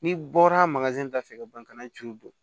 N'i bɔra da fɛ ka ban kana tulu don